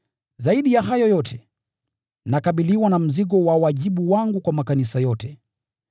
Zaidi ya hayo yote, nakabiliwa na mzigo wa wajibu wangu kwa makanisa yote.